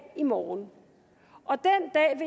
i morgen og